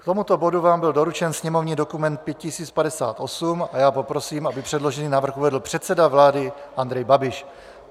K tomuto bodu vám byl doručen sněmovní dokument 5058 a já poprosím, aby předložený návrh uvedl předseda vlády Andrej Babiš.